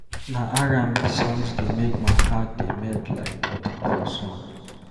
Na R&B songs dey make my heart dey melt like butter for sun.